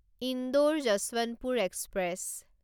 Indore Yesvantpur express